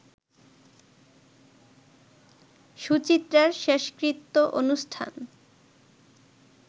সুচিত্রার শেষকৃত্য অনুষ্ঠান